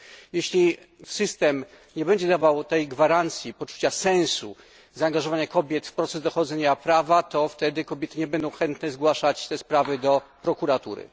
Jeśli system nie będzie dawał tej gwarancji, poczucia sensu zaangażowania kobiet w proces dochodzenia prawa, to wtedy kobiety nie będą chętne zgłaszać tych spraw do prokuratury.